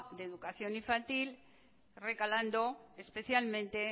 de educación infantil recalando especialmente